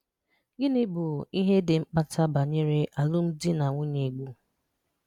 Gịnị́ bụ́ ihe dị́ mkpàtà b̀anyèrè àlụ̀m̀di na nwùnyé Igbo?